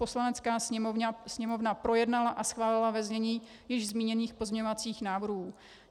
Poslanecká sněmovna projednala a schválila ve znění již zmíněných pozměňovacích návrhů.